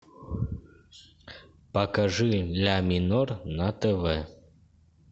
покажи ля минор на тв